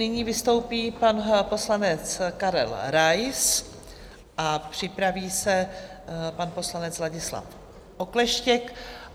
Nyní vystoupí pan poslanec Karel Rais a připraví se pan poslanec Ladislav Okleštěk.